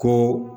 Ko